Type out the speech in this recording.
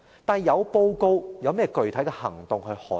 但是，有報告，又有甚麼具體行動捍衞？